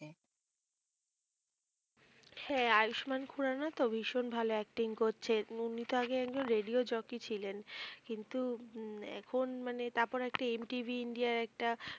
হ্যাঁ আয়ুষ্মান খুরানা তো ভীষণ ভালো acting করছে। উনি তো আগে একজন রেডিও জকি ছিলেন। কিন্তু আহ এখন মানে তারপর একটা এম টিভি ইন্ডিয়ায় একটা